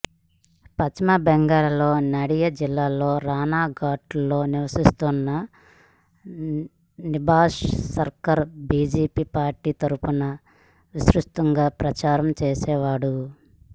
పశ్చిమ బెంగాల్లోని నాడియా జిల్లా రాణాఘాట్లో నివసిస్తున్న నిభస్ సర్కార్ బీజేపీ పార్టీ తరఫున విస్తృతంగా ప్రచారం చేసేవాడు